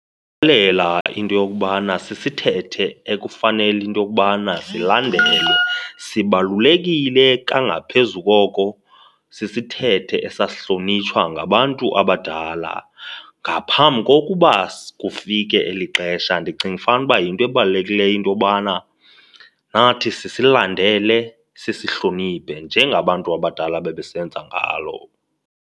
into yokubana sisithethe ekufanele into yokubana silandelwe. Sibalulekile kangaphezulu koko, sisithethe esasihlonitshwa ngabantu abadala ngaphambi kokuba kufike eli xesha. Ndicinga fanuba yinto ebalulekileyo into yokubana nathi sisilandele, sisihloniphe njengabantu abadala babesenza ngalo.